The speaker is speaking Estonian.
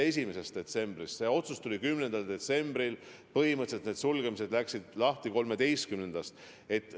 See otsus tuli 10. detsembril ja põhimõtteliselt algasid sulgemised 13. detsembril.